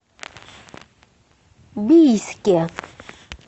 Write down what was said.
бийске